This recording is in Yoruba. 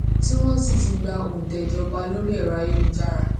tí wón sì ti gba òntẹ ìjọba lórí ẹrọ ayélujára